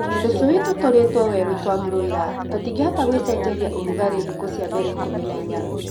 Tũshui tũtũrĩtwo werũ twa broila tũtingĩhota gwĩshenjeria ũrugalĩ thikũ cia mbele ikũmi na inya